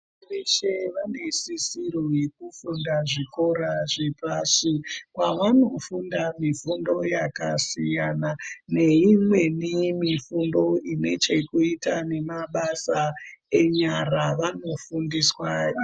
Veshe vane sisiro yekuende kuzvikora zvepashi kwavanofunda mifundo yakasiyana, neimweni mifundo ine chekuita nemabasa enyara, vanofundiswa.